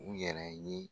U yɛrɛ ye